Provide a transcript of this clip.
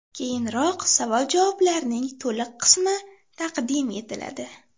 Keyinroq savol-javoblarning to‘liq qismi taqdim etiladi.